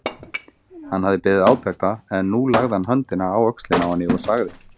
Hann hafði beðið átekta en nú lagði hann höndina á öxlina á henni og sagði